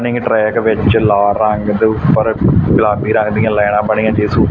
ਨਿੰਗ track ਵਿੱਚ ਲਾਲ ਰੰਗ ਦੇ ਊਪਰ ਗੁਲਾਬੀ ਰੰਗ ਦੀਆਂ ਲਾਈਨਾਂ ਬਣੀਆਂ ਜਿਸ ਊਪ --